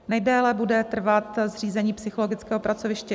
Nejdéle bude trvat zřízení psychologického pracoviště